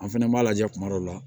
An fɛnɛ b'a lajɛ kuma dɔw la